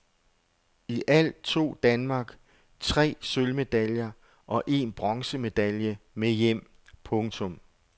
I alt tog Danmark tre sølvmedaljer og en bronzemedalje med hjem. punktum